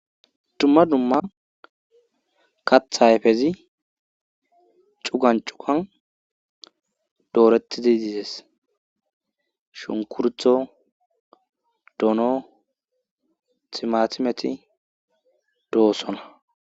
Dumma dumma katha hayfezi cugan cugan dooretidi dizes shunkurtho doono timatimeti doossona